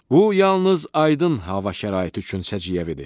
Bu yalnız aydın hava şəraiti üçün səciyyəvidir.